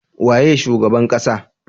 Waye shugaban ƙasa?